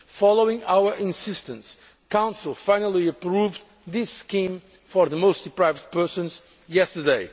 Following our insistence, Council finally approved this scheme for the most deprived persons yesterday.